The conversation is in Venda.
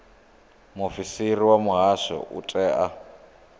muofisiri wa muhasho u itela